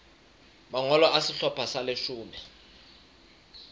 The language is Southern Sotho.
mangolo a sehlopha sa leshome